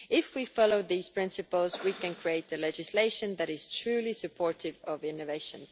If we follow these principles, we can create legislation that is truly supportive of innovation.